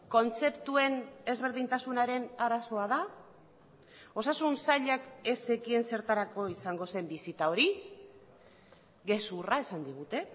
kontzeptuen ezberdintasunaren arazoa da osasun sailak ez zekien zertarako izango zen bisita hori gezurra esan digute